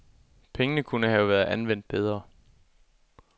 Pengene kunne have været anvendt bedre.